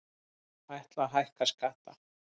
Ætla að hækka skatta